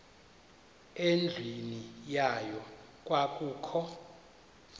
endlwini yayo kwakukho